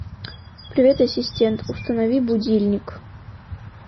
привет ассистент установи будильник